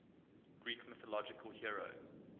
greek mythological hero